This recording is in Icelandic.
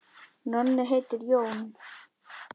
Nonni heitir Jón.